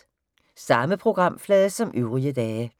Samme programflade som øvrige dage